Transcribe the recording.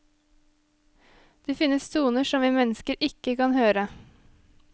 Det finnes toner som vi mennesker ikke kan høre.